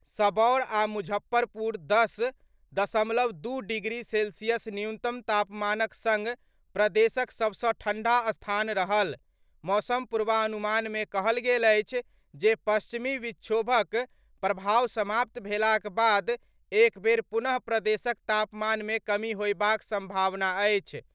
सबौर आ मुजफ्फरपुर दस दशमलव दू डिग्री सेल्सियस न्यूनतम तापमानक सङ्ग प्रदेशक सभसँ ठण्ढ़ा स्थान रहल। मौसम पूर्वानुमान मे कहल गेल अछि जे पश्चिमी विक्षोभक प्रभाव समाप्त भेलाक बाद एक बेर पुनः प्रदेशक तापमानमे कमी होयबाक सम्भावना अछि।